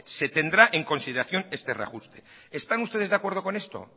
se tendrá en consideración este reajuste están ustedes de acuerdo con esto